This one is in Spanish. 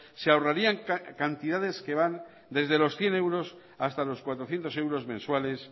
se ahorrarían cantidades que van desde los cien euros hasta los cuatrocientos euros mensuales